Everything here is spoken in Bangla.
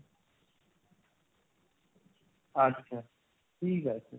আচ্ছা ঠিক আছে।